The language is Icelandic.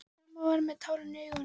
Mamma var með tárin í augunum.